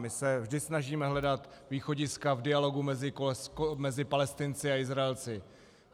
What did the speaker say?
My se vždy snažíme hledat východiska v dialogu mezi Palestinci a Izraelci.